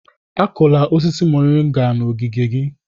Akụla osisi moringa n'ogige gị!